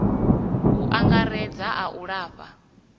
u angaredza a u lafha